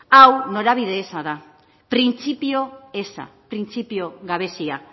hau norabide eza da printzipio eza printzipio gabezia